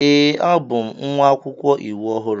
Ee, abụ m nwa akwụkwọ iwu ọhụrụ.